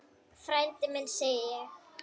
Frændi minn, segi ég.